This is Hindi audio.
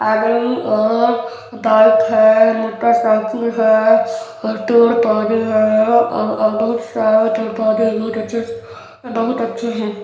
आदमी और बाइक है मोटरसाइकिल है और पेड़-पौधे है औ और बहुत सारा पेड़-पौधे नित अच्छे बहुत अच्छे है।